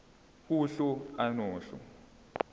uhlu a nohlu